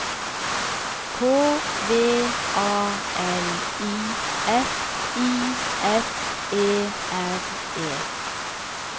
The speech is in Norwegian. K V A L I F I S E R E